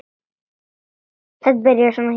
Þetta byrjaði svona hjá honum.